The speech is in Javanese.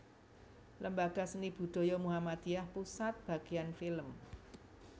Lembaga seni Budaya Muhammadiyah Pusat Bagian Film